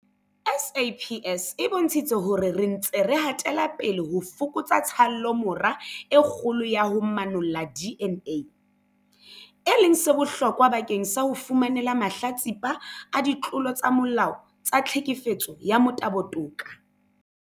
SAPS e bontshitse hore re ntse re hatela pele ho fokotsa tshallomora e kgolo ya ho manolla DNA, e leng se bohlokwa bakeng sa ho fumanela mahlatsipa a ditlolo tsa molao tsa tlhekefetso ya motabo toka.